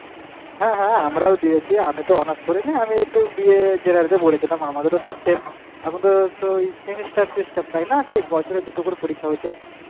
হ্যাঁ হ্যাঁ আমরাও দিয়েছি আমি তো honours করিনি আমি BA এ পড়েছি, আমাদেরও তো same এখন তো এই semester system তাই না সেই বছরে দুটো করে পরীক্ষা হয় হয়েছে,